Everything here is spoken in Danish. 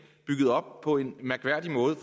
bygget op på en mærkværdig måde